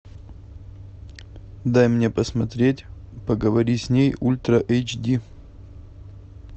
дай мне посмотреть поговори с ней ультра эйч ди